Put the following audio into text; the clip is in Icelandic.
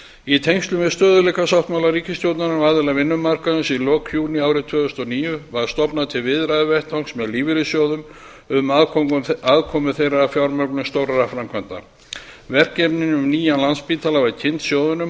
í tengslum við stöðugleikasáttmála ríkisstjórnarinnar og aðila vinnumarkaðarins í lok júní árið tvö þúsund og níu var stofnað til viðræðuvettvangs með lífeyrissjóðum um aðkomu þeirra að fjármögnun stórra framkvæmda verkefni um nýjan landspítala var kynnt sjóðunum